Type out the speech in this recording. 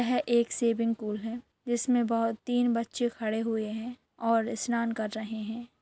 यह एक swimming pool है जिसमे बहुत तीन बच्चे खड़े हुए है और स्नान कर रहे है।